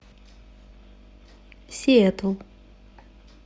сиэтл